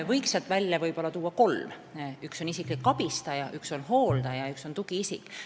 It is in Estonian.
Toon sealt välja kolm: üks on isiklik abistaja, üks on hooldaja ja üks on tugiisik.